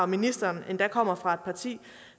ministeren endda kommer fra et parti